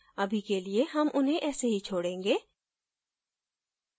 अभी के लिए हम उन्हें ऐसे ही छोडेंगे